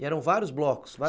E eram vários blocos.